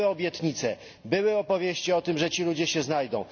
Były obietnice, były opowieści o tym, że ci ludzie się znajdą.